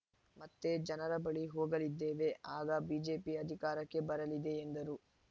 ಮತ್ತೆ ಜನರ ಬಳಿ ಹೋಗಲಿದ್ದೇವೆ ಆಗ ಬಿಜೆಪಿ ಅಧಿಕಾರಕ್ಕೆ ಬರಲಿದೆ ಎಂದರು